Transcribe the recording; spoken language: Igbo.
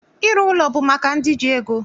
Ịrụ ụlọ bụ maka ndị ji ego